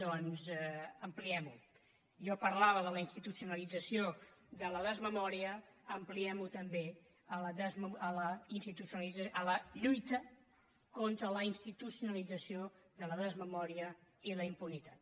doncs ampliem ho jo parlava de la institucionalització de la desmemòria ampliem ho també a la lluita contra la institucionalització de la desmemòria i la impunitat